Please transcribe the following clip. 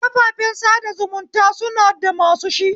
Kafafen sada zumunta suna da masu shi